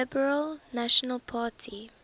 liberal national party